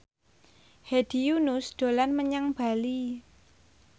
Hedi Yunus dolan menyang Bali